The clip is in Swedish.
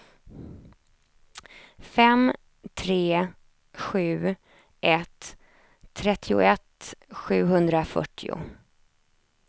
fem tre sju ett trettioett sjuhundrafyrtio